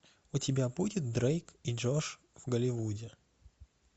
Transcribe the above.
у тебя будет дрейк и джош в голивуде